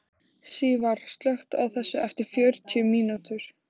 Sívar, slökktu á þessu eftir fjörutíu mínútur.